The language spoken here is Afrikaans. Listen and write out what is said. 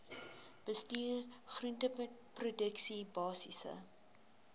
bestuur groenteproduksie basiese